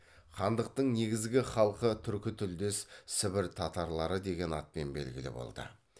хандықтың негізгі халқы түркі тілдес сібір татарлары деген атпен белгілі болды